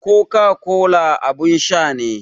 Coca-cola abin sha ne.